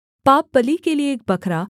पापबलि के लिये एक बकरा